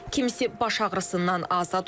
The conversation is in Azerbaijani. Kimisi baş ağrısından azad olur.